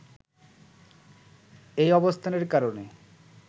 এই অবস্থানের কারণে